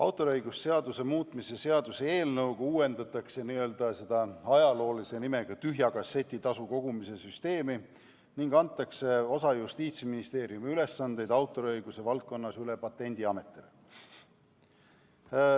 Autoriõiguse seaduse muutmise seaduse eelnõuga uuendatakse nn tühja kasseti tasu kogumise süsteemi ning antakse osa Justiitsministeeriumi ülesandeid autoriõiguse valdkonnas üle Patendiametile.